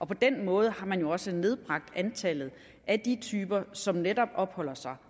på den måde har man også nedbragt antallet af de typer som netop opholder sig